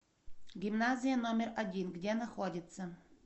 гимназия номер один где находится